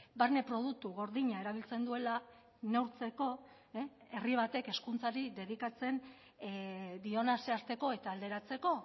barne produktu gordina erabiltzen duela neurtzeko herri batek hezkuntzari dedikatzen diona zehazteko eta alderatzeko